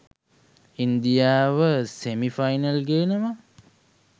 ඉන්දියාව semi final ගේනවා.